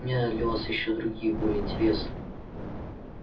у меня есть для вас другие ещё более интересные